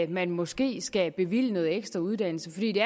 man måske skal bevilge noget ekstra uddannelse fordi det